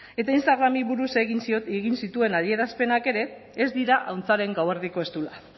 eta instagrami buruz egin zituen adierazpenak ere ez dira ahuntzaren gauerdiko eztula